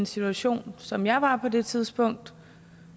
situation som jeg var på det tidspunkt